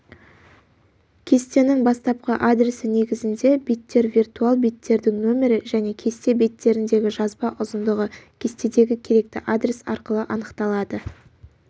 кестенің бастапқы адресі негізінде беттер виртуал беттердің нөмірі және кесте беттеріндегі жазба ұзындығы кестедегі керекті адрес арқылы анықталады